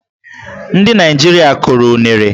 Ndị Naịjirịa kụrụ unere.